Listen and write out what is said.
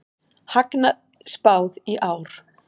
Hagnaði spáð í ár